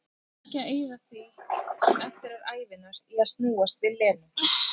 Ég ætla ekki að eyða því sem eftir er ævinnar í að snúast við Lenu-